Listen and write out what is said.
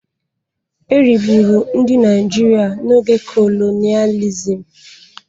E rigburu ndị Naịjirịa n'oge kolonịalizim.